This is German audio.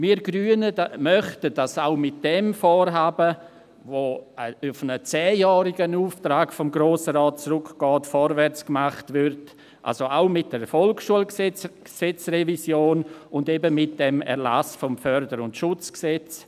Wir Grünen möchten, dass auch mit diesem Vorhaben, das auf einen zehnjährigen Auftrag des Grossen Rates zurückgeht, vorwärts gemacht wird, also auch mit der Revision des VSG und eben mit dem Erlass des FSG.